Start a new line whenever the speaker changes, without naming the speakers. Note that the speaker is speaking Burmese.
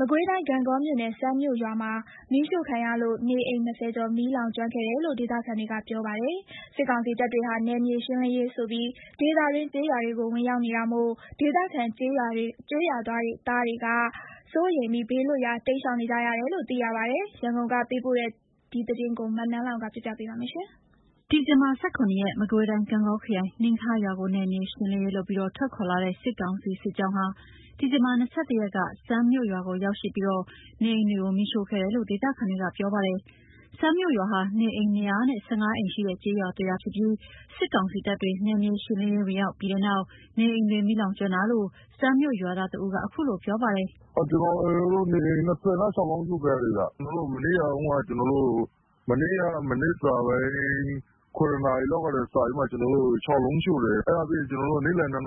မကွေးတိုင်း ဂန့်ဂေါမြို့နယ် စန်းမြို့ရွာမှာ မီးရှို့ခံရလို့ နေအိမ် ၂၀ ကျော် မီးလောင်ကျွမ်းခဲ့တယ်လို့ ဒေသခံတွေကပြောပါတယ်။ စစ်ကောင်စီတပ်တွေဟာ နယ်မြေရှင်းလင်းရေးဆိုပြီး ဒေသတွင်း ကျေးရွာတွေကို ဝင်ရောက်နေတာမို့ ဒေသခံကျေးရွာ သားတွေက စိုးရိမ်ပြီး ဘေးလွတ်ရာ တိမ်းရှောင်နေကြရတယ်လို့လည်း သိရပါတယ်။ ရန်ကုန်က ပေးပို့ထားတဲ့ သတင်းကို နန်းလောဝ်က တင်ပြပေးထားပါတယ်။ ဒီဇင်ဘာ ၁၇ ရက်က မကွေးတိုင်း ဂန့်ဂေါခရိုင် နှမ်းခါးရွာကို နယ်မြေရှင်းလင်းရေးလုပ်ပြီး ထွက်ခွာလာတဲ့ စစ်ကောင်စီ စစ်ကြောင်းဟာ ဒီဇင်ဘာ ၂၁ ရက်က စန်းမြို့ ရွာကို ရောက်ရှိပြီး နေအိမ်တွေကို မီးရှို့ခဲ့တယ်လို့ ဒေသခံတွေက ပြောပါတယ်။ စန်းမြို့ရွာဟာ နေအိမ် ၂၁၅ အိမ်ရှိတဲ့ ကျေးရွာတရွာဖြစ်ပြီး စစ်ကောင်စီတပ်တွေ နယ်မြေရှင်းလင်းရေး ဝင်ရောက်ပြီးနောက် နေအိမ်တွေ မီးလောင်ကျွမ်းတာလို့ စန်းမြို့ရွာသား တဦးက အခုလိုပြောပါတယ်။ “
နေအိမ် ၂၆ လုံး အရှို့ခံရတယ်ခင်ဗျ။ မနေ့ မနက် ၇